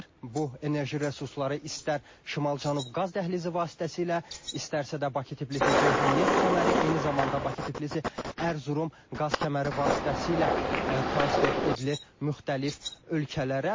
Bu enerji resursları istər Şimal-Cənub qaz dəhlizi vasitəsilə, istərsə də Bakı-Tbilisi-Ceyhan neft kəməri, eyni zamanda Bakı-Tbilisi-Ərzurum qaz kəməri vasitəsilə transfer edilir müxtəlif ölkələrə.